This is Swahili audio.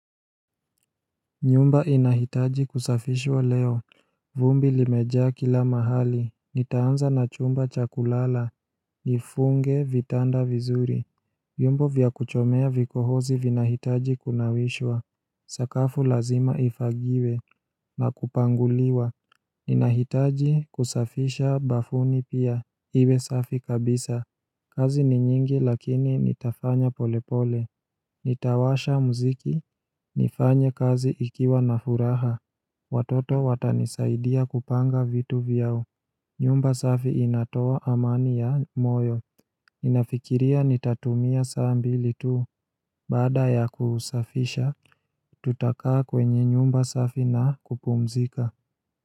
Nyumba inahitaji kusafishwa leo, vumbi imejaa kila mahali, nitaanza na chumba cha kulala, nifunge vitanda vizuri vyombo vya kuchomea vikohozi vinahitaji kunawishwa, sakafu lazima ifagiwe, na kupanguliwa Ninahitaji kusafisha bafuni pia, iwe safi kabisa, kazi ni nyingi lakini nitafanya polepole Nitawasha mziki, nifanye kazi nikiwa na furaha Watoto watanisaidia kupanga vitu vyao nyumba safi inatoa amani ya moyo ninafikiria nitatumia saa mbili tu Baada ya kusafisha, tutakaa kwenye nyumba safi na kupumzika.